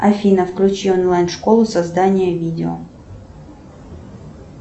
афина включи онлайн школу создания видео